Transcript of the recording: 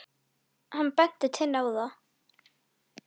Lena lítur um öxl: Hvað?